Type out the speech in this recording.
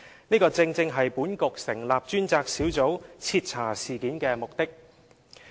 這正是本局成立專責小組徹查事件的目的。